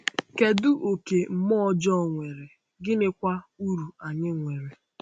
Kedu oke mmụọ ọjọọ nwere, gịnịkwa uru anyị nwere?